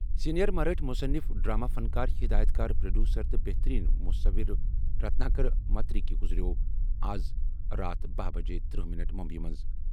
Senior مَرٲٹھہِ مُصنِف، drama فنکار، ہِدایت کار، پروڈیوسر، تہٕ بہتٔریٖن مُصَوِر رتناکر مَتکری گُزریٛوو آز راتھ باہ بجہِ ترٛہ منٹ مٗمبیی منٛز۔